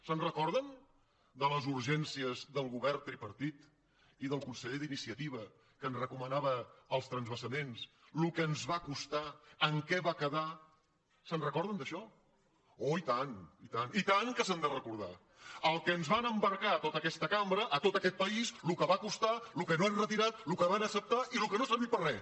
se’n recorden de les urgències del govern tripartit i del conseller d’iniciativa que ens recomanava els transvasaments el que ens va costar en què va quedar se’n recorden d’això oh i tant i tant que se n’han de recordar el que ens van embarcar tota aquesta cambra tot aquest país el que va costar el que no han retirat el que van acceptar i el que no ha servit per a res